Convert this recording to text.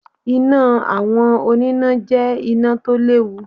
Iná àwọn oníná jẹ́ iná tó léwu